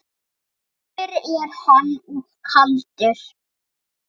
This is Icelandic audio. Dimmur er hann og kaldur.